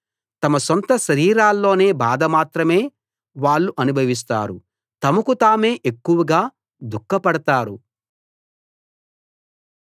తమ సొంత శరీరాల్లోని బాధ మాత్రమే వాళ్ళు అనుభవిస్తారు తమకు తామే ఎక్కువగా దుఃఖపడతారు